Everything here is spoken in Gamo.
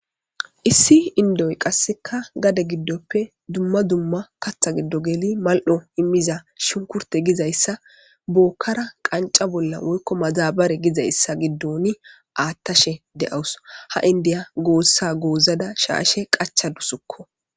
issi indoy qasseka gade giddoppe dumma dumma katha giddo geli mal7o immiza shunkurte gizayssa bookkara qanca bolla woykko mazabare gizayssa giddon aattashe de7awus ha indiya goossa goozada shaashe qachadusukko